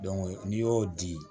n'i y'o di